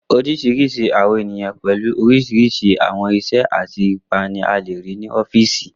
Oríṣiríṣi àwọn èèyàn pẹ̀lu oríṣiríṣi àwọn iṣẹ́ àti ipa ní a lè rí ní ọ́fìsì